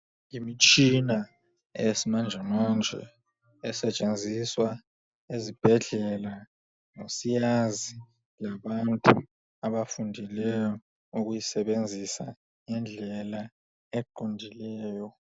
Imitshina eyesimanjemanje esetshenziswa ezibhedlela ngosiyazi labantu abafundileyo ukuyisebenzisa ngendlela eqondileyo.